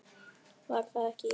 Var það ekki, já!